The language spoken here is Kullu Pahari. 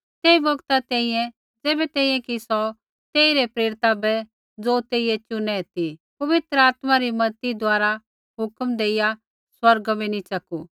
तेई बौगता तैंईंयैं ज़ैबै तैंईंयैं कि सौ तेइरै प्रेरिता बै ज़ो तेइयै चुनै ती पवित्र आत्मा री मज़ती द्वारा हुक्म देइया स्वर्गा बै नैंई च़कू